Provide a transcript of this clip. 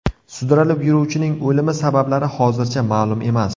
Sudralib yuruvchining o‘limi sabablari hozircha ma’lum emas.